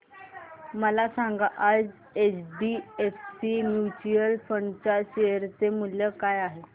मला सांगा आज एचडीएफसी म्यूचुअल फंड च्या शेअर चे मूल्य काय आहे